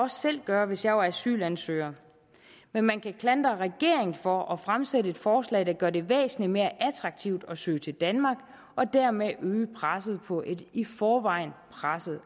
selv gøre hvis jeg var asylansøger men man kan klandre regeringen for at fremsætte et forslag der gør det væsentlig mere attraktivt at søge til danmark og dermed øge presset på et i forvejen presset